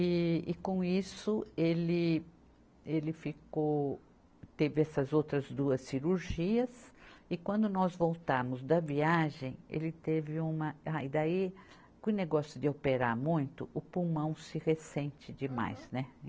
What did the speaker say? E, e com isso, ele, ele ficou, teve essas outras duas cirurgias e quando nós voltamos da viagem, ele teve uma, ah, e daí, com o negócio de operar muito, o pulmão se ressente demais, né? Aham